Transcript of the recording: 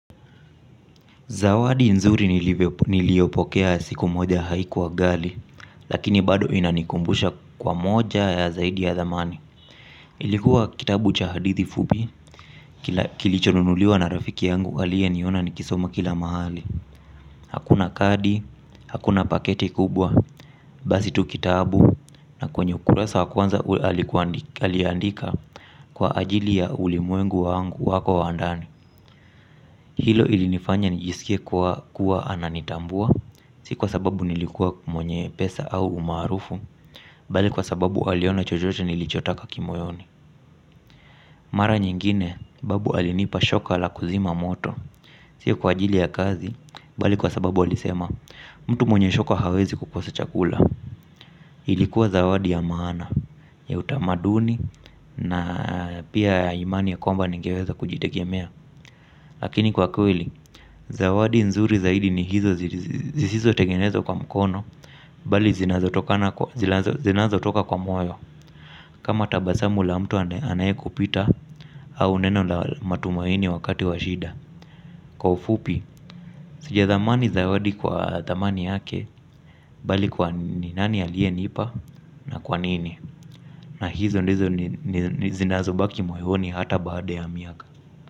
Zawadi nzuri nilyopokea siku moja haikuwa gali, lakini bado inanikumbusha kwa moja ya zaidi ya dhamani. Ilikuwa kitabu cha hadithi fubi, kilichonunuliwa na rafiki yangu alie niona ni kisoma kila mahali. Hakuna kadi, hakuna paketi kubwa, basi tu kitabu, na kwenye ukuresa wa kwanza aliandika kwa ajili ya ulimwengu wangu wako wa andani. Hilo ilinifanya nijisikia kuwa ananitambua. Si kwa sababu nilikuwa mwenye pesa au umarufu bali kwa sbabu aliona chochote nilicho taka ki moyoni. Mara nyingine, babu alinipa shoka ala kuzima moto. Si kwajili ya kazi, bali kwa sababu alisema. Mtu mwenye shoka hawezi kukosa chakula. Ilikuwa zawadi ya maana, ya utamaduni na pia ya imani ya kwmba nigeweza kujitegemea. Lakini kwa kweli, zawadi nzuri zaidi ni hizo zisizo tengenezwa kwa mkono bali zinazo toka kwa moyo. Kama tabasamu la mtu anaye kupita au neno la matumaini wakati wa shida. Kwa ufupi sijadhamani zawadi kwa thamani yake bali kwa nani alie nipa na kwanini. Na hizo ndizo ni zinazo baki moyo ni hata baada ya miaka.